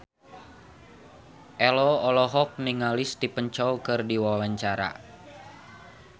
Ello olohok ningali Stephen Chow keur diwawancara